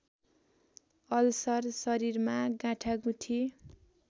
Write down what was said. ulcer शरीरमा गाँठागुठी